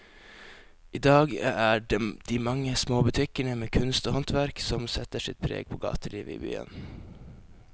I dag er det de mange små butikkene med kunst og håndverk som setter sitt preg på gatelivet i byen.